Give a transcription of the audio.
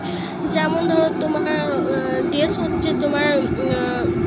যেমন ধরো তোমার উম তোমার Dress হচ্ছে তোমার উম